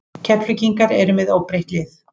Keflvíkingar eru með óbreytt lið.